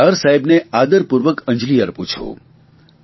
હું સરદાર સાહેબને આદરપૂર્વક અંજલિ અર્પું છું